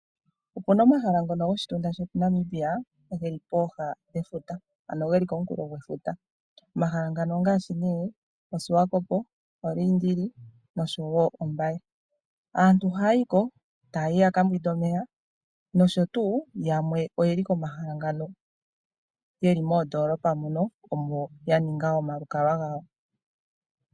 Opu na omahala ngono goshitunda shetu Namibia geli pooha dhefuta ano geli komunkulo gwefuta. Omahala ngano ongaashi nee Oswakopo, Oliindili nosho wo Ombaye. Aantu ohaya yi ko, taa yi ya ka mbwinde omeya, nosho tuu yamwe oye li komahala ngano yeli moondoolopa mono, omo ya ninga omalukalwa gawo.